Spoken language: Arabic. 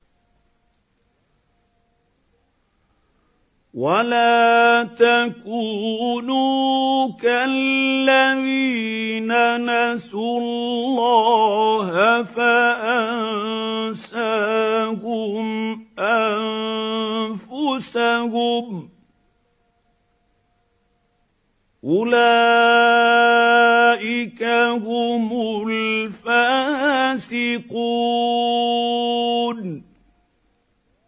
وَلَا تَكُونُوا كَالَّذِينَ نَسُوا اللَّهَ فَأَنسَاهُمْ أَنفُسَهُمْ ۚ أُولَٰئِكَ هُمُ الْفَاسِقُونَ